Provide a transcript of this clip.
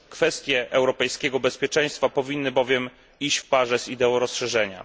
Kwestie europejskiego bezpieczeństwa powinny bowiem iść w parze z ideą rozszerzenia.